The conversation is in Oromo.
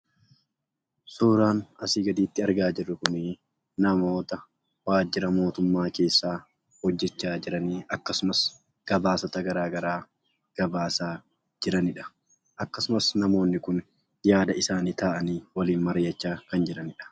Suuraan asii gaditti argaa jirru kunii namoota waajjira mootummaa keessaa hojjechaa jiranii akkasumas gabaasota garaa garaa gabaasaa jiranidha. Akkasumas namoonni kun yaada isaanii taa'anii waliin mari'achaa kan jiranidha.